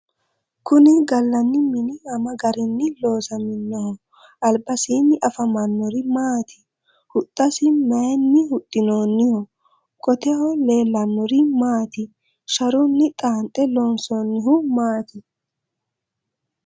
kuni gallani mini ama garinni loosaminoho? albasiinni afamannori maati? huxxasi mayeenni huxxinooniho? qoteho leellannori maati sharunni xaanxe loonsoonnihu maati ?